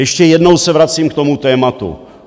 Ještě jednou se vracím k tomu tématu.